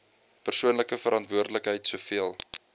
persoonlike verantwoordelikheid soveel